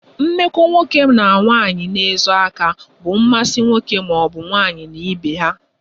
Mmekọ nwoke na nwaanyi na-ezo aka bụ mmasi nwoke maọbu nwaanyi na ibe ha